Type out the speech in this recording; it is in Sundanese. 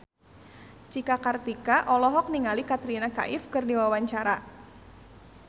Cika Kartika olohok ningali Katrina Kaif keur diwawancara